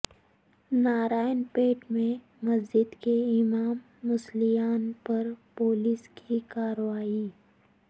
نارائن پیٹ میں مسجد کے امام و مصلیان پر پولیس کی کارروائی